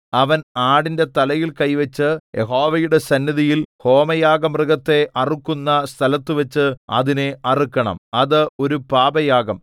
അവൻ ആടിന്റെ തലയിൽ കൈവച്ചു യഹോവയുടെ സന്നിധിയിൽ ഹോമയാഗമൃഗത്തെ അറുക്കുന്ന സ്ഥലത്തുവച്ച് അതിനെ അറുക്കണം അത് ഒരു പാപയാഗം